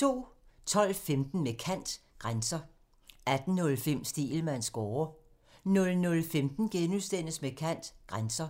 12:15: Med kant – Grænser 18:05: Stegelmanns score (tir) 00:15: Med kant – Grænser *